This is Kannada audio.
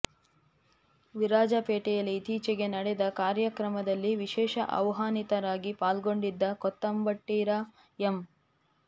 ವಿರಾಜಪೇಟೆಯಲ್ಲಿ ಇತ್ತೀಚೆಗೆ ನಡೆದ ಕಾರ್ಯಕ್ರಮದಲ್ಲಿ ವಿಶೇಷ ಆಹ್ವಾನಿತರಾಗಿ ಪಾಲ್ಗೊಂಡಿದ್ದ ಕೂತಂಬಟ್ಟಿರ ಎಂ